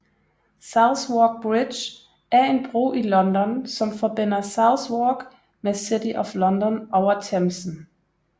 Southwark Bridge er en bro i London som forbinder Southwark med City of London over Themsen